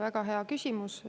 Väga hea küsimus.